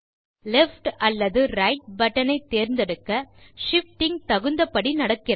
left அல்லது right button ஐ தேர்ந்தெடுக்க ஷிஃப்டிங் தகுந்தபடி நடக்கிறது